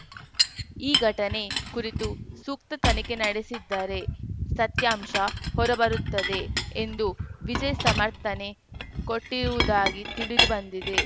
ಈ ಘಟನೆ ಕುರಿತು ಸೂಕ್ತ ತನಿಖೆ ನಡೆಸಿದ್ದರೆ ಸತ್ಯಾಂಶ ಹೊರಬರುತ್ತದೆ ಎಂದು ವಿಜಯ್‌ ಸಮರ್ಥನೆ ಕೊಟ್ಟಿರುವುದಾಗಿ ತಿಳಿದು ಬಂದಿದೆ